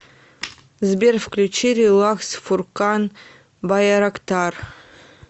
сбер включи релакс фуркан байрактар